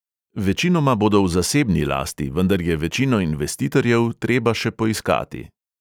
Večinoma bodo v zasebni lasti, vendar je večino investitorjev treba še poiskati.